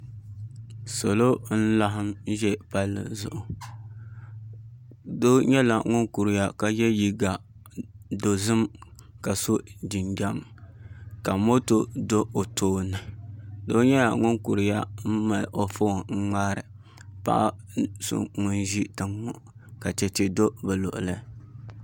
Salo n laɣam ʒɛ palli zuɣu doo nyɛla ŋun kuriya ka yɛ liiga dozim ka so jinjɛm ka moto do o tooni doo nyɛla ŋun kuriya n mali o foon do paɣa so ŋun ʒi tiŋ ŋo ka chɛchɛ do o luɣuli